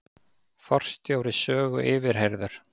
Forstjóri Sögu yfirheyrður